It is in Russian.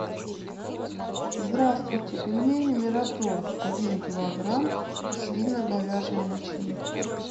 здравствуйте пельмени мираторг один килограмм свино говяжья начинка